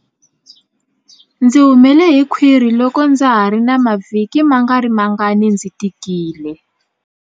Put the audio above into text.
Ndzi humele hi khwiri loko ndza ha ri na mavhiki mangarimangani ndzi tikile.